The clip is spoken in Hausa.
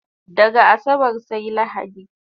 Daga asabar sai lahadi